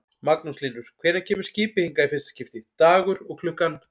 Magnús Hlynur: Hvenær kemur skipið hingað í fyrsta skiptið, dagur og klukkan?